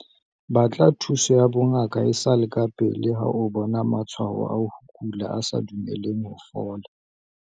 Batla thuso ya bongaka e sa le kapele ha o bona matshwao a ho kula a sa dumeleng ho fola.